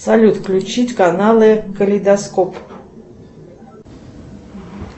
салют включить каналы калейдоскоп